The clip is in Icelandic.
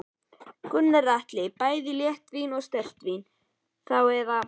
Gunnar Atli: Bæði léttvín og sterkt vín þá eða?